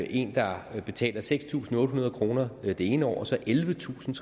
en der betaler seks tusind otte hundrede kroner det ene år og så ellevetusinde